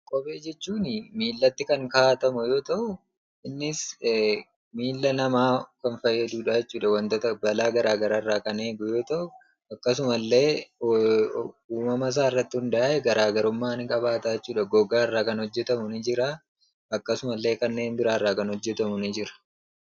Kophee jechuuni miillatti kan kaa'atamu yoo ta'u innis miilla namaa kan fayyadudhaa jechuudha. Wantota balaa garaa garaarraa kan eegu yoo ta'u akkasumallee uumamasaarratti hundaa'ee garaa garummaa ni qabaata jechuudha. gogaarraa kan hojjetamu ni jiraa akkasumallee kanneen biraarraa kan hojjetamu ni jira.